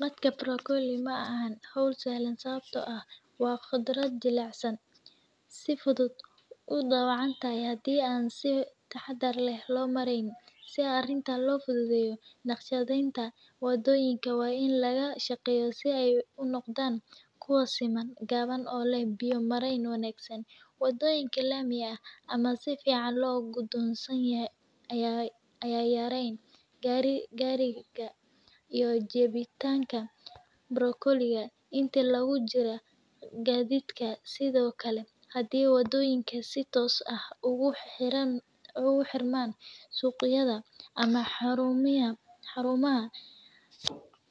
Dadka borgoley maxan hol sahlan, sawabto ah wa qodrad jilac saan, si fudud idawacan tahay hadii an si tahadar lah loo maraynin si arinta, loo fududayoh naqshadayta wa doyinka wa in laga shaqyo sii ay u noqdan kuwa siman gawan oo lah biyo maran wagsan, wadoyinka lamayga ama sii fican loo gudo sanyahay aya yaran garika, iyo jawitanka, barogoleya inta lagu jirah gadidka, side oke hadii wa doyinka sii toos ah ogu xiraman suqayada ama harumaha